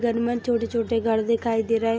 घनमन छोटे- छोटे घर दिखाई दे रहे --